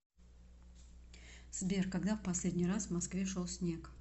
сбер когда в последний раз в москве шел снег